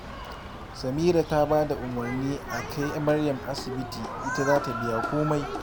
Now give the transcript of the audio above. Samira ta ba da umarni a kai Maryam asibiti, ita za ta biya komai